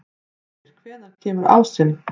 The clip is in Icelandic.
Brímir, hvenær kemur ásinn?